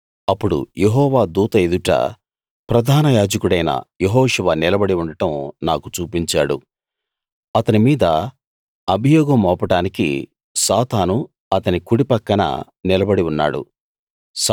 అప్పుడు యెహోవా దూత ఎదుట ప్రధాన యాజకుడైన యెహోషువ నిలబడి ఉండడం నాకు చూపించాడు అతని మీద అభియోగం మోపడానికి సాతాను అతని కుడి పక్కన నిలబడి ఉన్నాడు